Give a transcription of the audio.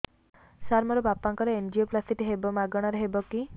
ସାର ମୋର ବାପାଙ୍କର ଏନଜିଓପ୍ଳାସଟି ହେବ ମାଗଣା ରେ ହେବ କି